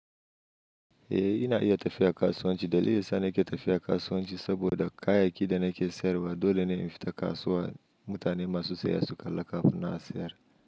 Eh ina iya tafiya kasuwanci. Dalilin sa nake tafiya kasuwanci saboda kayayyakin da nake sayarwa dole ne in fita kasuwa. Mutane masu sayan su kalla kafin nan a sayar.